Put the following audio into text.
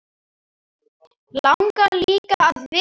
Langar líka að vita.